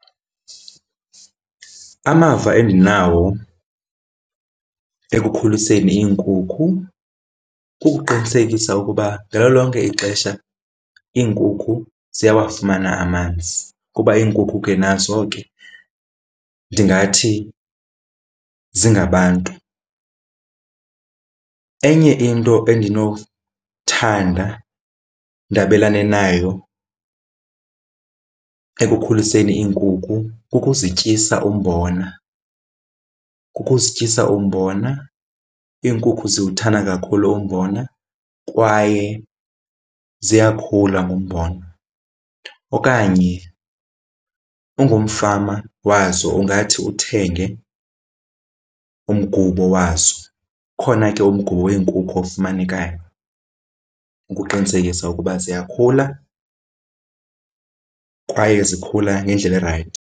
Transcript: Amava endinawo ekukhuliseni iinkukhu kukuqinisekisa ukuba ngalo lonke ixesha iinkukhu ziyawafumana amanzi kuba iinkukhu ke nazo ke ndingathi zingabantu. Enye into endinothanda ndabelane nayo ekukhuliseni iinkukhu kukuzityisa umbona, kukuzityisa umbona. Iinkukhu ziwuthanda kakhulu umbona kwaye ziyakhula ngumbona. Okanye ungumfama wazo ungathi uthenge umgubo wazo. Ukhona ke umgubo wenkukhu ofumanekayo ukuqinisekisa ukuba ziyakhula kwaye zikhula ngendlela erayithi.